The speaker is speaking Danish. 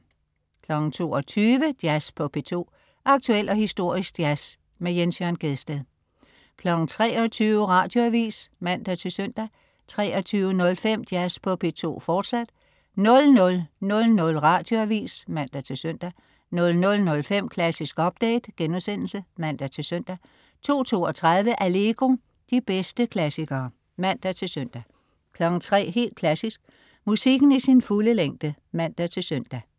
22.00 Jazz på P2. Aktuel og historisk jazz. Jens Jørn Gjedsted 23.00 Radioavis (man-søn) 23.05 Jazz på P2, fortsat 00.00 Radioavis (man-søn) 00.05 Klassisk update* (man-søn) 02.32 Allegro. De bedste klassikere (man-søn) 03.00 Helt Klassisk. Musikken i sin fulde længde (man-søn)